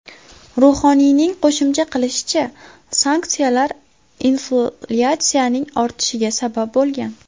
Ruhoniyning qo‘shimcha qilishicha, sanksiyalar inflyatsiyaning ortishiga sabab bo‘lgan.